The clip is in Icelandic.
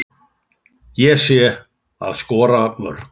Það sé að skora mörk.